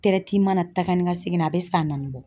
taa ka ni ka seginna a bɛ san naani bɔ.